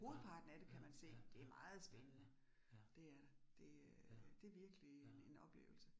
Hovedparten af det kan man se. Det meget spændende. Det er det. Det øh det virkelig en oplevelse